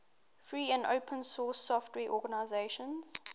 free and open source software organizations